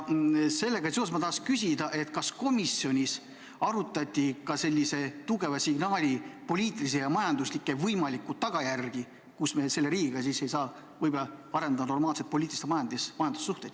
Sellega seoses tahaks ma küsida, kas komisjonis arutati sellise tugeva signaali võimalikke poliitilisi ja majanduslikke tagajärgi – seda, kui me ei saa selle riigiga arendada normaalseid poliitilisi ja majanduslikke suhteid.